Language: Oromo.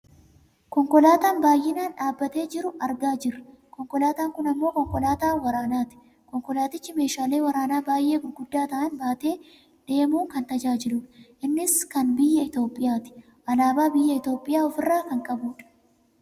Konkolaataan baayyinaan dhaabbatee jiru argaa jirra . Konkolaataan kun ammoo konkolaataa waraanaati. Konkolaatichi meeshaalee waraanaa baayy'ee gurguddaa ta'an baatee deemuun kan nu tajaajiludha. Innis kan biyya Itoopiyaati. Aalaabaa biyya Itoopoyaa ofirraa kan qabudha.